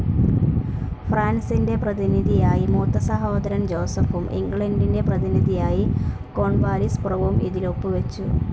ഫ്രാൻസിന്റെ പ്രതിനിധിയായി മൂത്തസഹോദരൻ ജോസെഫും ഇംഗ്ലണ്ടിന്റെ പ്രതിനിധിയായി കോൺവാലിസ് പ്രഭുവും ഇതിൽ ഒപ്പു വെച്ചു,